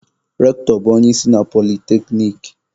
Rectọ bụ onye isi na polyteknic